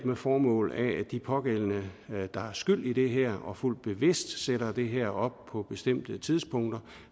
og formålet er at de pågældende der er skyld i det her og fuldt bevidst sætter det her op på bestemte tidspunkter